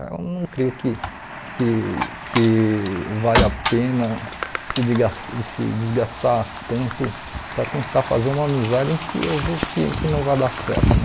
Eu não creio que que que valha a pena se digas se desgastar tanto para tentar fazer uma amizade em que eu vejo que que não vai dar certo, né?